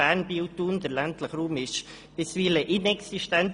Der ländliche Raum ist bisweilen inexistent.